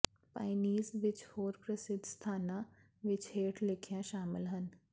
ਪਾਇਨੀਜ਼ ਵਿਚ ਹੋਰ ਪ੍ਰਸਿੱਧ ਸਥਾਨਾਂ ਵਿਚ ਹੇਠ ਲਿਖੀਆਂ ਸ਼ਾਮਲ ਹਨ